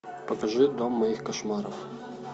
покажи дом моих кошмаров